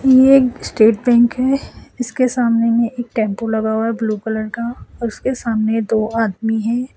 ये एक State Bank है इसके सामने में एक टेंपो लगा हुआ है ब्लू कलर का और उसके सामने दो आदमी हैं।